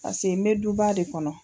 Pase n bɛ duba de kɔnɔ.